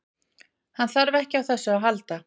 Hann þarf ekki á þessu að halda.